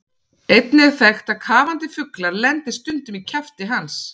Einnig er þekkt að kafandi fuglar lendi stundum í kjafti hans.